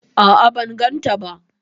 A'a ban gan ta ba